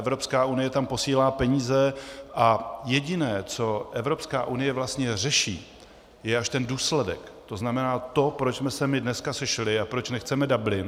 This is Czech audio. Evropská unie tam posílá peníze a jediné, co Evropská unie vlastně řeší, je až ten důsledek, to znamená to, proč jsme se my dneska sešli a proč nechceme Dublin.